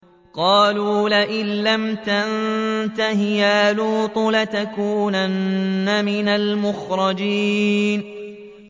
قَالُوا لَئِن لَّمْ تَنتَهِ يَا لُوطُ لَتَكُونَنَّ مِنَ الْمُخْرَجِينَ